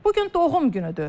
Bu gün doğum günüdür.